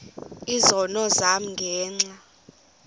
izono zam ngenxa